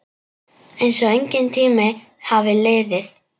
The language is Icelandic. Einsog enginn tími hafi liðið.